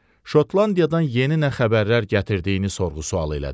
Şotlandiyadan yeni nə xəbərlər gətirdiyini sorğu-sual elədi.